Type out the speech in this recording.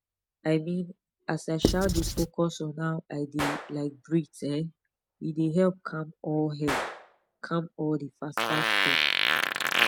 i mean as i um dey focus on how i dey um breathe um e dey help calm all help calm all the fastfast thought